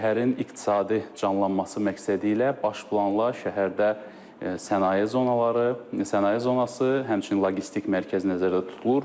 Şəhərin iqtisadi canlanması məqsədilə baş planla şəhərdə sənaye zonaları, sənaye zonası, həmçinin logistik mərkəz nəzərdə tutulur.